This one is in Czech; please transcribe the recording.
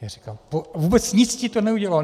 Já říkám: Vůbec nic ti to neudělalo?